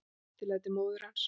Eftirlæti móður hans.